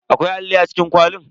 Akwai alli a cikin kwalin.